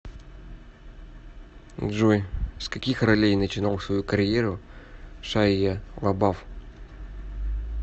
джой с каких ролей начинал свою карьеру шайя лабаф